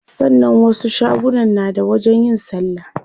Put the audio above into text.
Sannan wasu shagunan na da wajen yin salla.